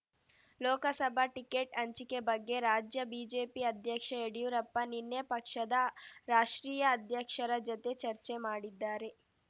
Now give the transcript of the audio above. Lok Sabha ticket ಹಂಚಿಕೆ ಬಗ್ಗೆ ರಾಜ್ಯ ಬಿಜೆಪಿ ಅಧ್ಯಕ್ಷ ಯಡಿಯೂರಪ್ಪ ನಿನ್ನೆ ಪಕ್ಷದ ರಾಷ್ಟ್ರೀಯ ಅಧ್ಯಕ್ಷರ ಜತೆ ಚರ್ಚೆ ಮಾಡಿದ್ದಾರೆ